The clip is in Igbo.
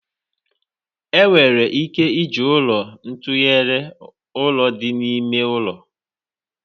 Enwere ike iji ụlọ tụnyere ụlọ dị n'ime ụlọ.